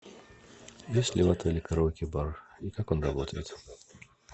есть ли в отеле караоке бар и как он работает